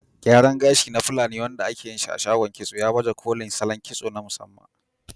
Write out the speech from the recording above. Gyaran gashi na fulani, wanda ake yin shi a shagon kitso, ya baje kolin salon kitso na musamman.